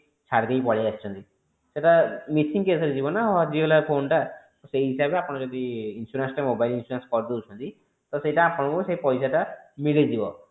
ଛାଡି ଦେଇ ପଳେଈ ଆସିଛନ୍ତି ସେଟା missing case ରେ ଯିବ ନ ହଜିଗଲା phone ଟା ସେଇ ହିସାବରେ ଯଦି ଆପଣ ଯଦି insurance ଟା mobile insurance ଟା କରି ଦୋଉଛନ୍ତି ତ ସେଇଟା ଆପଣଙ୍କୁ ସେଇ ପଇସା ଟା ମିଳିଯିବ